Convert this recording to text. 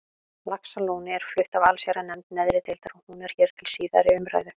Laxalóni er flutt af allsherjarnefnd neðri deildar og hún er hér til síðari umræðu.